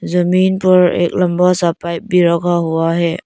जमीन पर एक लंबा सा पाइप भी रखा हुआ है।